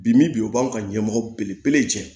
Bi bi in o b'an ka ɲɛmɔgɔ belebele jɛ